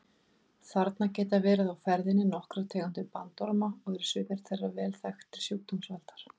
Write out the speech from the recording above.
Þarna geta verið á ferðinni nokkrar tegundir bandorma og eru sumar þeirra vel þekktir sjúkdómsvaldar.